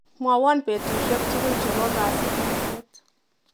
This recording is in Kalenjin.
Mwawa betushek tukul chebo kasikisiet.